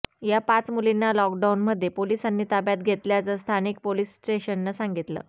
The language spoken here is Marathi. या पाच मुलींना ल़ॉकडाऊनमध्ये पोलिसांनी ताब्यात घेतल्याचं स्थानिक पोलीस स्टेशननं सांगितलं